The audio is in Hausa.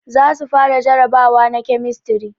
Za su fara jarabawa na kemistri